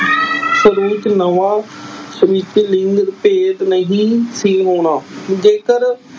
ਲਿੰਗ ਭੇਤ ਨਹੀਂ ਸੀ ਹੋਣਾ ਜੇਕਰ।